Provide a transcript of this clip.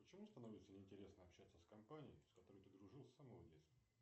почему становится не интересно общаться с компанией с которой ты дружил с самого детства